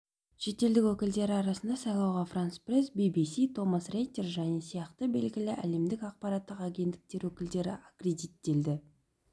шетелдік өкілдері арасында сайлауға франс-пресс би-би-си томас рейтер және сияқты белгілі әлемдік ақпараттық агенттіктер өкілдері аккредиттелді